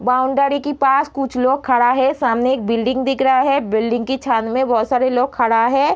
Boundary की पास कुछ लोग खड़ा है। सामने एक बिल्डिंग दिख रहा है। बिल्डिंग की छाँद में बहोत सारे लोग खड़ा है।